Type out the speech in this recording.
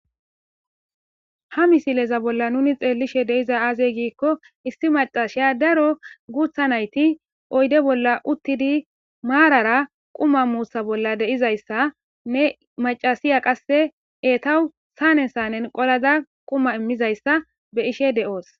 ha misileza bolla nuni xeellishe deiza aazey giikko isti macashiya daro guutha nayti oyde bolla uttidi maarara quma muussa bolla deizayssa ne macasiya qasse eetawu saane sanen qolada quma immizayssa be ishe de7oos